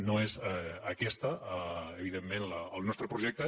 no és aquest evidentment el nostre projecte